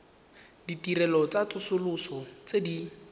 ditirelo tsa tsosoloso tse di